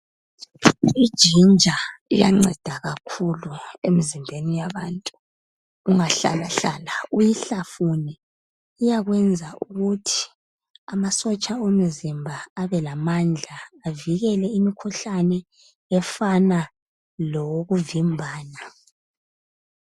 IGinger iyanceda kakhulu emzimbeni yabantu. Ungahlalahlala uyihlafune, iyakwenza ukuthi amasotsha omzimba abelamandla avikele imikhuhlane efana lowokuvimbana.